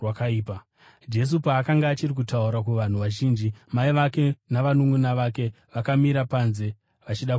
Jesu paakanga achiri kutaura kuvanhu vazhinji, mai vake navanunʼuna vake vakamira panze vachida kutaura naye.